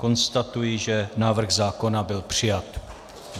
Konstatuji, že návrh zákona byl přijat.